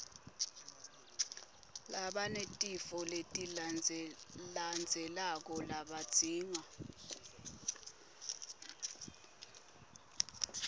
labanetifo letilandzelandzelako labadzinga